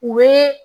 U bɛ